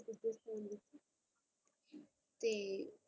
ਤੇ